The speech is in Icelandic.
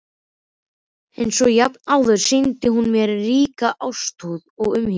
Einsog jafnan áður sýndi hún mér ríka ástúð og umhyggju.